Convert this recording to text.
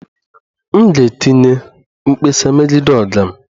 M ga-etinye mkpesa megide oga m